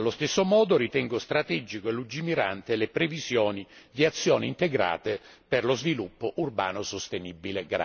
Allo stesso modo, ritengo strategiche e lungimiranti le previsioni di azioni integrate per lo sviluppo urbano sostenibile.